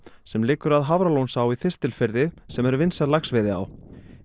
sem liggur að Hafralónsá í Þistilfirði sem er vinsæl laxveiðiá